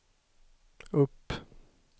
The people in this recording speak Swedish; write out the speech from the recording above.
upp